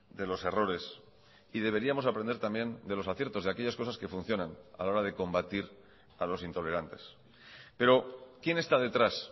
de los errores y deberíamos aprender también de los aciertos de aquellas cosas que funcionan a la hora de combatir a los intolerantes pero quién está detrás